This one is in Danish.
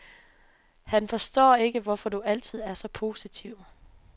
Han forstår ikke, hvorfor du altid er så positiv.